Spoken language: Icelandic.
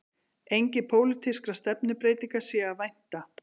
Engra pólitískra stefnubreytinga sé að vænta